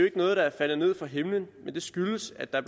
ikke noget der er faldet ned fra himlen men skyldes at der